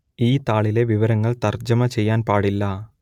ഈ താളിലെ വിവരങ്ങൾ തർജ്ജമ ചെയ്യാൻ പാടില്ല